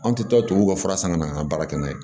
Anw tɛ to tubabuw ka fura san ka na an ka baara kɛ n'a ye